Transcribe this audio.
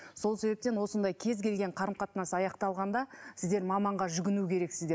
сол себептен осындай кез келген қарым қатынас аяқталғанда сіздер маманға жүгіну керексіздер